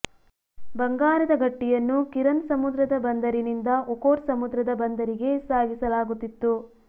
ಬಂಗಾರದ ಗಟ್ಟಿಯನ್ನು ಕಿರನ್ ಸಮುದ್ರದ ಬಂದರಿನಿಂದ ಒಖೊಟ್ಸ್ ಸಮುದ್ರದ ಬಂದರಿಗೆ ಸಾಗಿಸಲಾಗುತ್ತಿತ್ತು